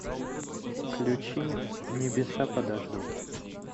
включи небеса подождут